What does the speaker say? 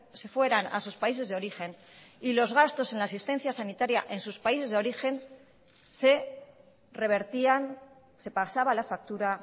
se fueran a sus países de origen y los gastos en la asistencia sanitaria en sus países de origen se revertían se pasaba la factura